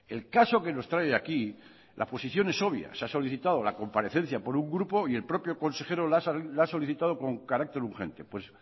el caso que nos trae aquí la posición es obvia se ha solicitado la comparecencia por un grupo y el propio consejero la ha solicitado con carácter urgente pues